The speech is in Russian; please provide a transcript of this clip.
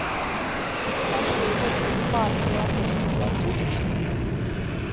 подскажи лобби бар при отеле круглосуточный